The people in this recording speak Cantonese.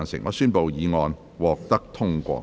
我宣布議案獲得通過。